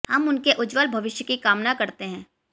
हम उनके उज्ज्वल भविष्य की कामना करते हैं